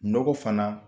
Nɔgɔ fana